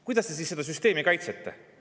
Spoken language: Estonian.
Kuidas te siis seda süsteemi kaitsete?